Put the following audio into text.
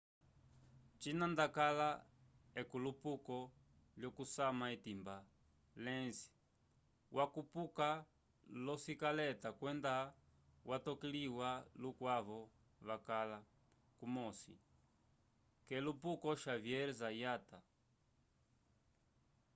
cina ndakala k'elupuko lyokusanya etimba lenz wakupuka l'osikaleta kwenda watokaliwa lukwavo vakala kumosi k'elupuko xavier zayat